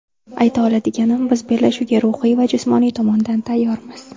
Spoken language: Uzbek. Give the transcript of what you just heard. Ayta oladiganim biz bellashuvga ruhiy va jismoniy tomondan tayyormiz.